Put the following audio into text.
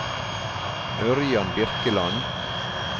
Ørjan Birkeland